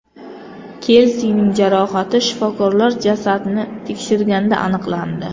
Kelsining jarohati shifokorlar jasadni tekshirganda aniqlandi.